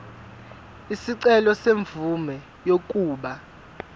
isicelo semvume yokuba